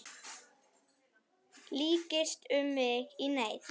Lykst um mig í neyð.